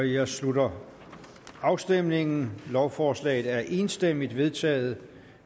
jeg slutter afstemningen lovforslaget er enstemmigt vedtaget